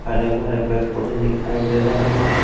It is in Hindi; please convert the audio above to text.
हरे भरे पेड़ पौधे दिखाई दे रहे हैं।